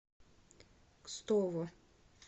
кстово